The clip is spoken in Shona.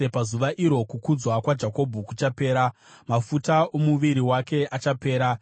“Pazuva iro kukudzwa kwaJakobho kuchapera; mafuta omuviri wake achapera.